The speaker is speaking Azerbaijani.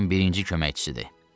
Kapitanın birinci köməkçisidir.